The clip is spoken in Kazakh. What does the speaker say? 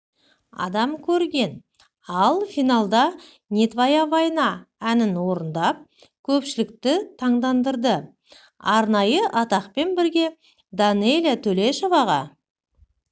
адам көрген ал финалда не твоя война әнінорындап көпшілікті таңдандырды арнайы атақпен бірге данэлия төлешоваға